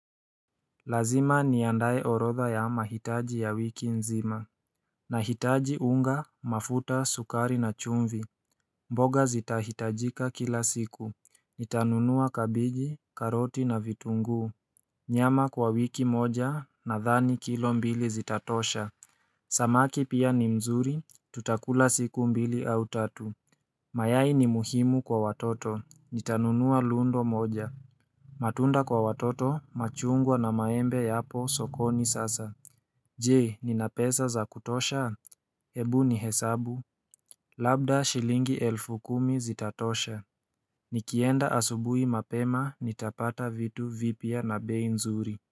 Lazima niandae orodha ya mahitaji ya wiki nzima Nahitaji unga, mafuta, sukari na chumvi mboga zitahitajika kila siku Nitanunua kabeji, karoti na vitunguu Nyama kwa wiki moja nadhani kilo mbili zitatosha Samaki pia ni mzuri, tutakula siku mbili au tatu mayai ni muhimu kwa watoto Nitanunua lundo moja matunda kwa watoto machungwa na maembe yapo sokoni sasa Je nina pesa za kutosha? Hebu nihesabu Labda shilingi elfu kumi zitatosha Nikienda asubuhi mapema nitapata vitu vipya na bei nzuri.